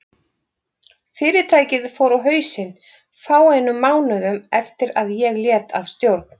Fyrirtækið fór á hausinn fáeinum mánuðum eftir að ég lét af stjórn.